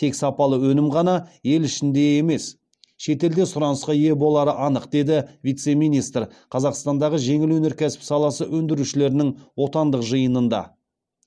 тек сапалы өнім ғана ел ішінде емес шетелде сұранысқа ие болары анық деді вице министр қазақстандағы жеңіл өнеркәсіп саласы өндірушілерінің отандық жиынында